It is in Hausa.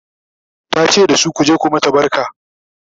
ta ce dasu " ku je ku mata barka!"